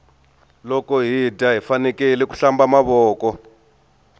loko hi dya hifanekele ku hlamba mavoko